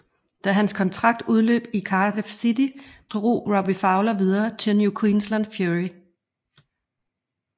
Da hans kontrakt udløb i Cardiff City drog Robbie Fowler videre til New Queensland Fury